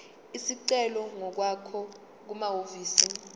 isicelo ngokwakho kumahhovisi